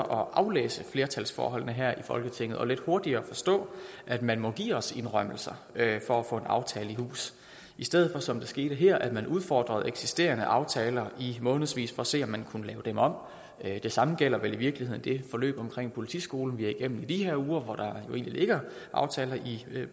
at aflæse flertalsforholdene bedre her i folketinget og lidt hurtigere forstå at man må give os indrømmelser for at få en aftale i hus i stedet for som det skete her at man udfordrer eksisterende aftaler i månedsvis for at se om man kan lave dem om det samme gælder vel i virkeligheden det forløb omkring politiskolen vi går igennem i de her uger hvor der jo ligger aftaler i